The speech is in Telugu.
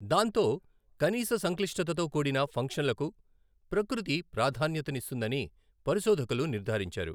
దాంతో కనీస సంక్లిష్టతతో కూడిన ఫంక్షన్లకు ప్రకృతి ప్రాధాన్యతనిస్తుందని పరిశోధకులు నిర్ధారించారు.